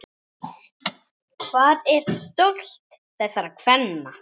Hvar er stolt þessara kvenna?